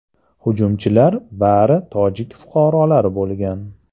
Hujumchilar bari tojik fuqarolari bo‘lgan.